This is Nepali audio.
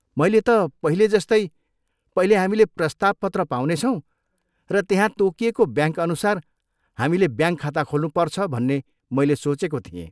मैले त पहिले जस्तै पहिले हामीले प्रस्ताव पत्र पाउनेछौँ र त्यहाँ तोकिएको ब्याङ्कअनुसार हामीले ब्याङ्क खाता खोल्नुपर्छ भन्ने मैले सोचेको थिएँ।